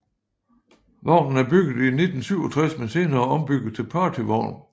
Vognen er bygget i 1967 men senere ombygget til partyvogn